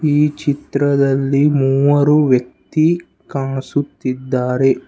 ಈ ಚಿತ್ರದಲ್ಲಿ ಮೂವರು ವ್ಯಕ್ತಿ ಕಾಣಿಸುತ್ತಿದ್ದಾರೆ.